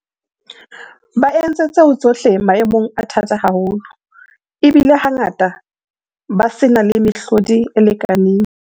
Ba entse tseo tsohle maemong a thata haholo, ebile hangata ba se na le mehlodi e lekaneng.